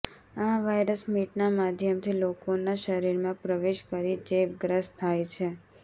આ વાયરસ મીટના માધ્યમથી લોકોના શરીરમાં પ્રવેશ કરી ચેપગ્રસ્ત થાય છે